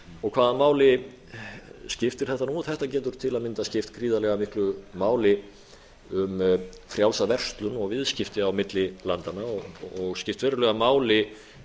þá hvaða máli skiptir þetta nú þetta getur til að mynda skipt gríðarlega miklu máli um frjálsa verslun og viðskipti á milli landanna og skipt verulega máli